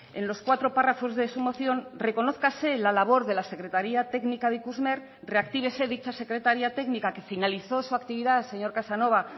en los cuatro párrafos de su moción reconózcase la labor de la secretaría técnica de ikusmer reactívese dicha secretaría técnica que finalizó su actividad señor casanova